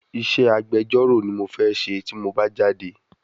Isé agbjọ́rọ̀ ni mo fẹ́ ṣe tí mo bá jáde